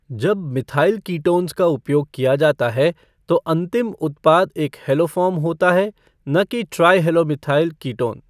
जब methyl ketones का उपयोग किया जाता है तो अंतिम उत्पाद एक हैलोफ़ॉर्म होता है न कि ट्राइहैलोमिथाइल कीटोन।